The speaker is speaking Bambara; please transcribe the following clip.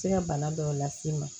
Se ka bana dɔw las'i ma